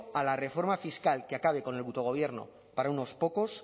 a la reforma fiscal que acabe con el butogobierno para unos pocos